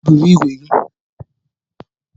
Bụrụ ìgwè gi!